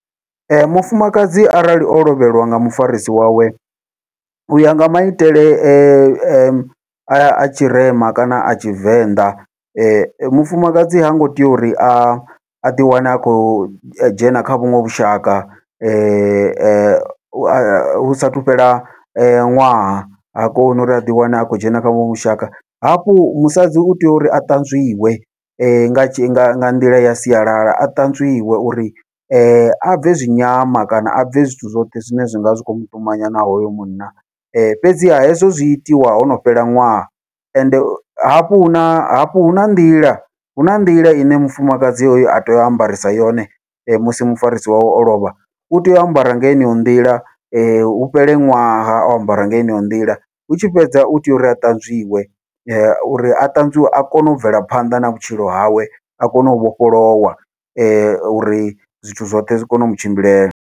Ee, mufumakadzi arali o lovheliwa nga mufarisi wawe, uya nga maitele a a tshirema kana a Tshivenḓa mufumakadzi hango tea uri a aḓi wane a khou dzhena kha vhuṅwe vhushaka hu sathu fhela ṅwaha, ha koni uri aḓi wane a khou dzhena kha vhuṅwe vhushaka hafhu musadzi utea uri a ṱanzwiwe nga nga nga nḓila ya sialala a ṱanzwiwe uri abve zwi nyama kana abve zwithu zwoṱhe zwine zwinga zwi khou muṱumanya na hoyo munna. Fhedziha hezwo zwi itiwa hono fhela ṅwaha, ende hafhu huna hafhu huna nḓila huna nḓila ine mufumakadzi oyo a tea u ambarisa yone musi mufarisi wawe o lovha utea u ambara nga yeneyo nḓila, hu fhele ṅwaha o ambara nga heneyo nḓila hu tshi fhedza utea uri a ṱanzwiwe uri a ṱanzwiwe a kone u bvela phanḓa na vhutshilo hawe a kone u vhofholowa, uri zwithu zwoṱhe zwi kone u mutshimbilela.